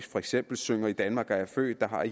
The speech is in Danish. for eksempel synger i danmark er jeg født der har